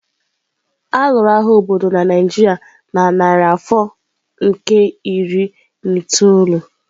A lụrụ agha obodo na Naijiria na narị afọ nke iri na itoolu.